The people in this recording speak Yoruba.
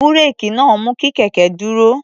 Búréèkì náà mú kí kẹ̀kẹ́ dúró.